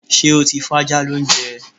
Ṣé́ o ti fájá lóúnjẹ?